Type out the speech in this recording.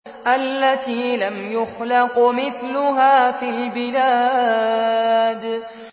الَّتِي لَمْ يُخْلَقْ مِثْلُهَا فِي الْبِلَادِ